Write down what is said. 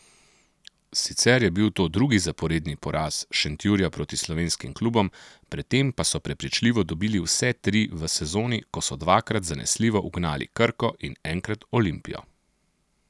Sicer je bil to drugi zaporedni poraz Šentjurja proti slovenskim klubom, predtem pa so prepričljivo dobili vse tri v sezoni, ko so dvakrat zanesljivo ugnali Krko in enkrat Olimpijo.